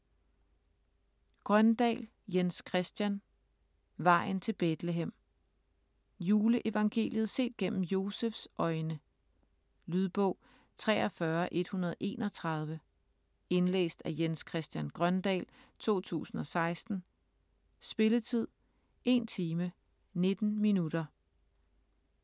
Grøndahl, Jens Christian: Vejen til Betlehem Juleevangeliet set gennem Josefs øjne. Lydbog 43131 Indlæst af Jens Christian Grøndahl, 2016. Spilletid: 1 time, 19 minutter.